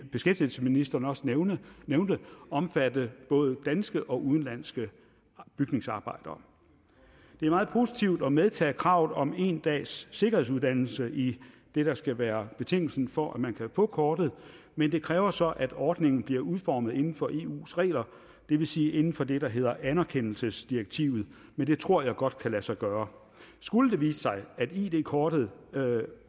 beskæftigelsesministeren også nævnte omfatte både danske og udenlandske bygningsarbejdere det er meget positivt at medtage kravet om en dags sikkerhedsuddannelse i det der skal være betingelsen for at man kan få kortet men det kræver så at ordningen bliver udformet inden for eus regler det vil sige inden for det der hedder anerkendelsesdirektivet men det tror jeg godt kan lade sig gøre skulle det vise sig at id kortet